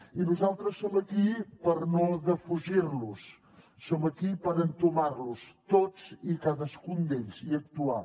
i nosaltres som aquí per no defugir los som aquí per entomar los tots i cadascun d’ells i actuar